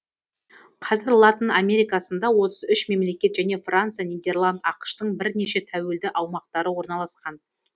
қазір латын америкасында отыз үш мемлекет және франция нидерланд ақш тың бірнеше тәуелді аумақтары орналасқан